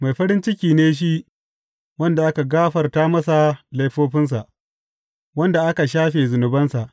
Mai farin ciki ne shi wanda aka gafarta masa laifofinsa, wanda aka shafe zunubansa.